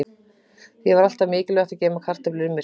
Það er því alltaf mikilvægt að geyma kartöflur í myrkri.